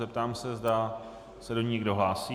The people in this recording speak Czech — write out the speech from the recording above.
Zeptám se, zda se do ní někdo hlásí.